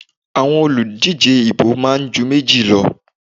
Àwọn olùdíje ìbò máa ń ju méjì lọ.